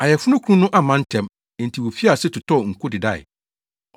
Ayeforokunu no amma ntɛm, enti wofii ase totɔɔ nko dedae.